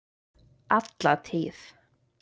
Alla tíð!